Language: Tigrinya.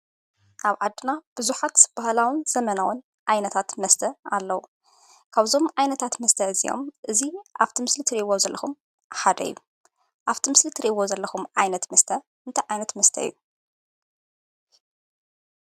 ኣብ ዓድና ብዙሓት ባህላዉን ዘመናዉን ዓይነታት መስተ ኣለዉ። ካብዞም ዓይነታት መስተ እዚኦም እዚ ኣብቲ ምስሊ እትርእይዎ ዘለኹም ሓደ እዩ። ኣብቲ ምስሊ እትርእይዎ ዘለኹም ዓይነት መስተ እንታይ ዓይነት መስተ እዩ?